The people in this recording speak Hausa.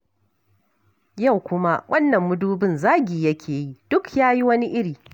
Yau kuma wannan mudubin zagi yake yi, duk ya yi wani iri.